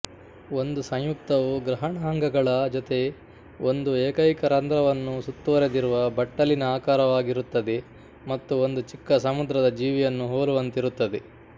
ಒಂದು ಸಂಯುಕ್ತವು ಗ್ರಹಣಾಂಗಗಳ ಜೊತೆ ಒಂದು ಏಕೈಕ ರಂಧ್ರವನ್ನು ಸುತ್ತುವರೆದಿರುವ ಬಟ್ಟಲಿನಆಕಾರವಾಗಿರುತ್ತದೆ ಮತ್ತು ಒಂದು ಚಿಕ್ಕ ಸಮುದ್ರದ ಜೀವಿಯನ್ನು ಹೋಲುವಂತಿರುತ್ತದೆ